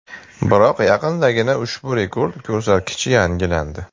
Biroq yaqindagina ushbu rekord ko‘rsatkich yangilangandi.